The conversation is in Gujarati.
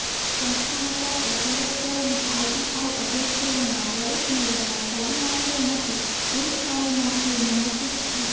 સંસ્થામાં ચાલતા સ્વરોજગારીના આઇટીઆઇ અભ્યાસક્રમોમાં પ્રવેશ મેળવનાર તાલીમાર્થીઓમાંથી પુરૂષ તાલીમાર્થીઓને માસિક રૂ